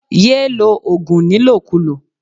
Ye lo ogun nilokulo.